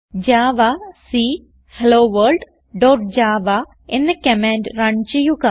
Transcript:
javac hello world dot java എന്ന command run ചെയ്യുക